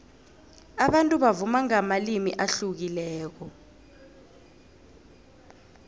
abantu bavuma ngamalimi ahlukileko